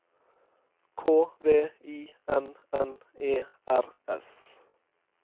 K V I N N E R S